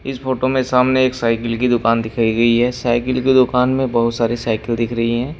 इस फोटो में सामने एक साइकिल की दुकान दिखाई गई है साइकिल की दुकान में बहुत सारी साइकिल दिख रही है।